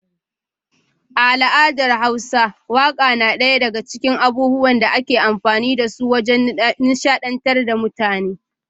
A al’adar hausa waka na daya daga cikin abubuwan da ake amfani da su wajen nishadantar da mutane.